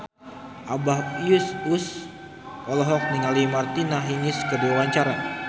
Abah Us Us olohok ningali Martina Hingis keur diwawancara